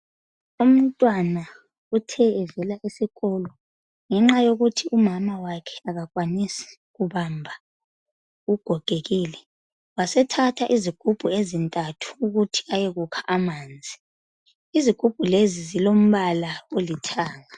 Umntwana uthe evela esikolo ngenxa yokuthi umama wakhe akakwanisi ukubamba ugogekile wase thatha izigumbu ezintathu ukuthi ayekukha amanzi isigumbu lezi zilombala olithanga.